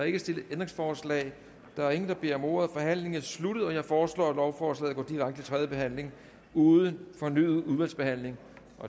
ikke stillet ændringsforslag der er ingen der beder om ordet forhandlingen er sluttet jeg foreslår at lovforslaget går direkte til tredje behandling uden fornyet udvalgsbehandling